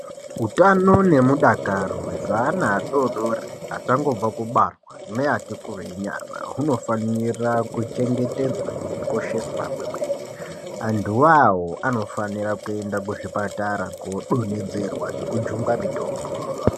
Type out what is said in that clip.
Utano nemudakaro hwezvana adori-dori achangobva kubarwa neati kurei nyana, hunofanira kuchengetedzwa nekukosheswa kwemwene. Antu iwawo anofanira kuenda kuzvipatara kodonhedzerwa nekujungwa mitombo.